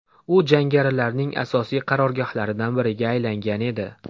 U jangarilarning asosiy qarorgohlaridan biriga aylangan edi.